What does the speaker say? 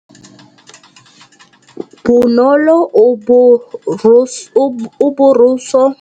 Bonolô o borosola meno ka borosolo ya motšhine.